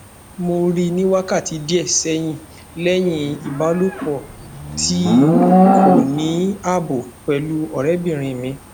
mo ri ni wakati die sehin lehin ibalopo ti ko ni abo pelu ore obinrin mi